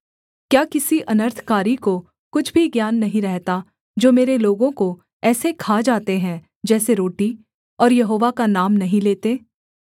क्या किसी अनर्थकारी को कुछ भी ज्ञान नहीं रहता जो मेरे लोगों को ऐसे खा जाते हैं जैसे रोटी और यहोवा का नाम नहीं लेते